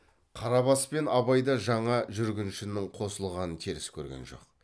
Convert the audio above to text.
қарабас пен абай да жаңа жүргіншінің қосылғанын теріс көрген жоқ